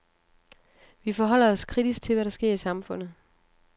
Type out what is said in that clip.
Vi forholder os kritisk til, hvad der sker i samfundet.